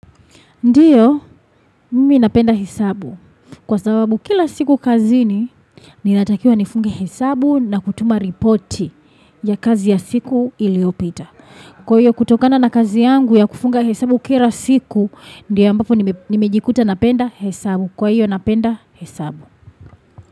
Ndiyo, mimi napenda hesabu. Kwa sababu kila siku kazi ni, ninatakiwa nifunge hesabu na kutuma reporti ya kazi ya siku iliopita. Kwa hiyo kutokana na kazi yangu ya kufunga hesabu kira siku, ndiyo ambapo nimejikuta napenda hesabu. Kwa hiyo napenda hesabu.